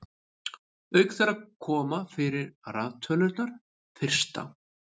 auk þeirra koma fyrir raðtölurnar fyrsta